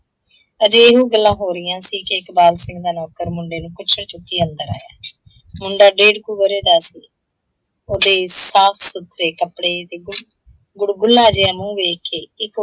ਅਜੇ ਇਹੋ ਗੱਲਾਂ ਹੋ ਰਹੀਆਂ ਸੀ ਕਿ ਇਕਬਾਲ ਸਿੰਘ ਦਾ ਨੌਕਰ ਮੁੰਡੇ ਨੂੰ ਕੁੱਛੜ ਚੁੱਕੀ ਅੰਦਰ ਆਇਆ ਹੈ। ਮੁੰਡਾ ਡੇਢ੍ਹ ਕੁ ਵਰੇ ਦਾ ਸੀ, ਉਹਦੇ ਸਾਫ ਸੁਥਰੇ ਕੱਪੜੇ ਤੇ ਗੁੜਗੁਡਲਾ ਜਿਹਾ ਮੂੰਹ ਵੇਖ ਕੇ